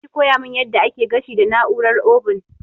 Zaki koya mun yadda ake gashi da na'urar obun?